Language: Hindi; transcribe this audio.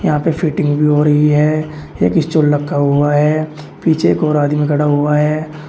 यहां पे फिटिंग भी हो रही है एक स्टूल रखा हुआ है पीछे एक और आदमी खड़ा हुआ है।